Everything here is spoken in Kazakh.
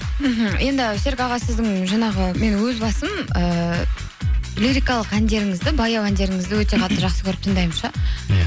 мхм енді серік аға сіздің жаңағы мен өзім басым ыыы лирикалық әндеріңізді баяу әндеріңізді өте қатты жақсы көріп тыңдаймын ше иә